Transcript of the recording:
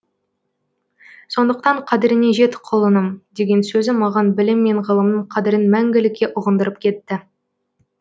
сондықтан қадіріне жет құлыным деген сөзі маған білім мен ғылымның қадірін мәңгілікке ұғындырып кетті